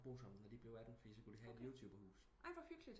Bo sammen når de blev 18 fordi så kunne de have et youtuber hus